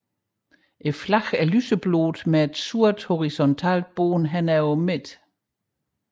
Flaget er lyseblåt med et sort horisontalt bånd over midten